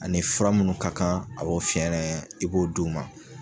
Ani fura munnu ka kan a b'o fiɲɛnɛ i b'o di' u ma.